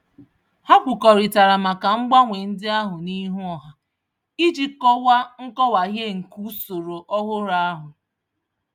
Ha kwukọrịtara maka mgbanwe ndị ahụ n'ihu ọha iji kọwaa nkọwahie nke usoro ọhụrụ ahụ.